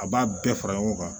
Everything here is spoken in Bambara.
A b'a bɛɛ fara ɲɔgɔn kan